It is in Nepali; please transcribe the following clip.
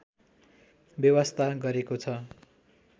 वेवास्ता गरेको छ